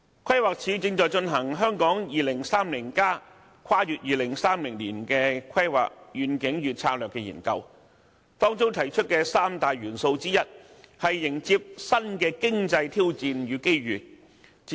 規劃署正進行《香港 2030+： 跨越2030年的規劃遠景與策略》研究，當中提出的其中一項三大元素，是迎接新的經濟挑戰和掌握這些機遇。